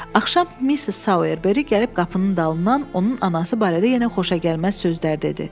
Axşam Missis Soyerberi gəlib qapının dalından onun anası barədə yenə xoşagəlməz sözlər dedi.